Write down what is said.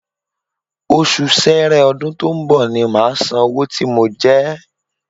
Oṣù ṣẹrẹ ọdún tó ń bọ̀ ni màá san owó tí mo jẹ ẹ́